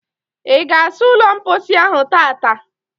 Ị ga asa ụlọ mposi ahụ tata?